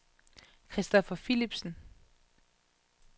Christopher Philipsen